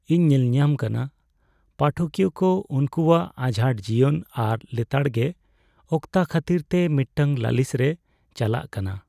ᱤᱧ ᱧᱮᱞᱧᱟᱢ ᱠᱟᱱᱟ ᱯᱟᱴᱷᱚᱠᱤᱭᱟᱹ ᱠᱚ ᱩᱱᱠᱩᱣᱟᱜ ᱟᱡᱷᱟᱴ ᱡᱤᱭᱚᱱ ᱟᱨ ᱞᱮᱛᱟᱲᱜᱮ ᱚᱠᱛᱟ ᱠᱷᱟᱹᱛᱤᱨᱛᱮ ᱢᱤᱫᱴᱟᱝ ᱞᱟᱹᱞᱤᱥ ᱨᱮ ᱪᱟᱞᱟᱜ ᱠᱟᱱᱟ ᱾